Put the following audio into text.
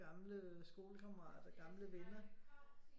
Gamle skolekammerater gamle venner